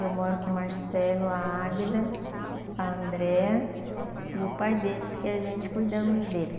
Eu moro com o Marcelo, a Águida, a Andréa e o pai deles, que a gente cuidamos dele.